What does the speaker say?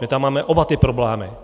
My tam máme oba ty problémy.